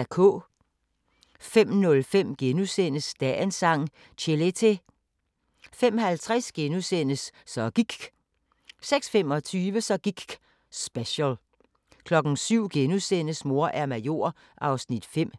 05:05: Dagens Sang: Chelete * 05:50: Så gIKK' * 06:25: Så gikk' special 07:00: Mor er major (5:6)*